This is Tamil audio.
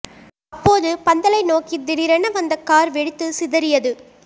அப்போது பந்தலை நோக்கி திடீரென வந்த கார் வெடித்து சிதறியது